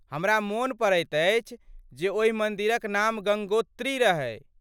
हमरा मोन पड़ैत अछि जे ओहि मन्दिरक नाम गङ्गोत्री रहै।